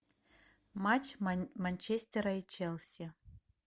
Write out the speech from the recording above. матч манчестера и челси